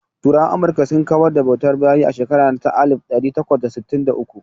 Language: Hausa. Turawan Amurka sun kawar da bautar bayi a shekara ta alif ɗari takwas da sittin da uku.